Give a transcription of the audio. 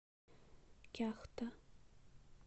кяхта